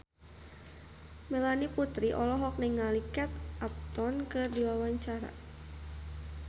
Melanie Putri olohok ningali Kate Upton keur diwawancara